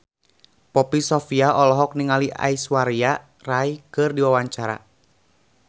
Poppy Sovia olohok ningali Aishwarya Rai keur diwawancara